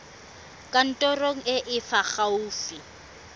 kantorong e e fa gaufi